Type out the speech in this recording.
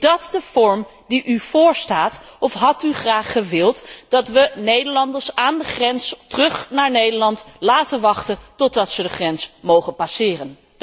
Is dat de vorm die u voorstaat of had u graag gewild dat we Nederlanders aan de grens naar Nederland, laten wachten totdat ze de grens mogen passeren?